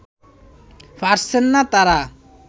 পারছেন না তারা